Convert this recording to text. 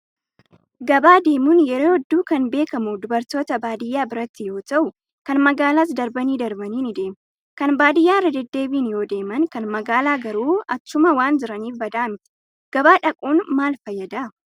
Gabaa deemuun yeroo hedduu kan beekamu dubartoota baadiyyaa biratti yoo ta'u, kan magaalaas darbanii darbanii ni deemu. Kan baadiyyaa irra deddeebiin yoo deeman, kan magaalaa garuu achuma waan jiraniif badaa miti. Gabaa dhaquun maal fayyada?